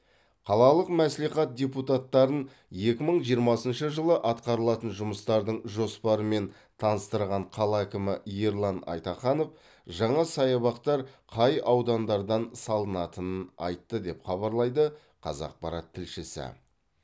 қалалық мәслихат депутаттарын екі мың жиырмасыншы жылы атқарылатын жұмыстардың жоспарымен таныстырған қала әкімі ерлан айтаханов жаңа саябақтар қай аудандардан салынатынын айтты деп хабарлайды қазақпарат тілшісі